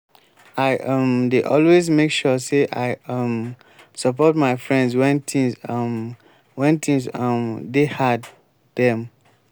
i um dey always make sure sey i um support my friends wen tins um wen tins um dey hard dem.